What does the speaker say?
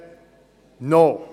Eh bien, non !